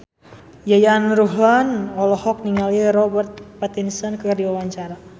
Yayan Ruhlan olohok ningali Robert Pattinson keur diwawancara